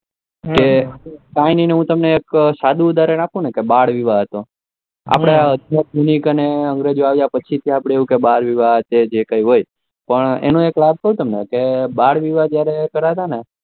કે કઈન હું તમને એક સારુ ઉદારણ આપું કે બાળ વિવાહ હતો આપડે આધ્યાત્મિક અને અંગ્રેજો આવ્યા પસી બાળ વિવાહ છે કે જે પણ હોય એનો એક લાભ ક્યુ મને કે જયારે બાળ વિવાહ કરતા